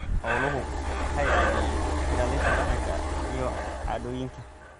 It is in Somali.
Xooluhu waxay caawiyaan ilaalinta dhaqanka iyo caadooyinka.